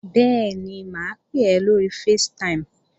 Bẹ́ẹ̀ni, mà á pè ọ́ lóri facetime